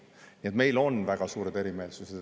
Nii et meil on väga suured erimeelsused.